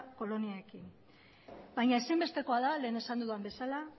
koloniekin baina ezinbestekoa da lehen esan dudan bezala